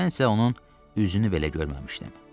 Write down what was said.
Mən isə onun üzünü belə görməmişdim.